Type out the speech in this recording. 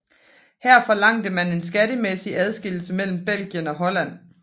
Her forlangte man en skattemæssig adskillelse mellem Belgien og Holland